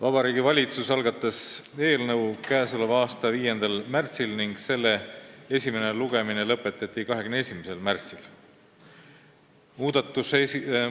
Vabariigi Valitsus algatas eelnõu k.a 5. märtsil ja selle esimene lugemine lõpetati 21. märtsil.